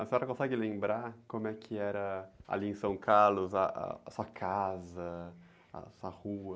A senhora consegue lembrar como é que era ali em São Carlos, ah, a sua casa, a sua rua?